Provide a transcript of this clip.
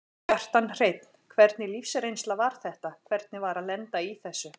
Kjartan Hreinn: Hvernig lífsreynsla var þetta, hvernig var að lenda í þessu?